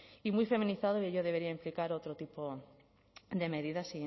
y muy feminizado y ello debería implicar otro tipo de medidas